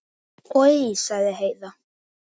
Oj, sagði Heiða.